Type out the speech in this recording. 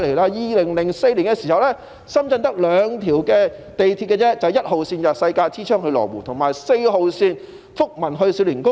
在2004年，深圳只有兩條地鐵線，分別是1號線，由世界之窗到羅湖，以及4號線，由福民到少年宮。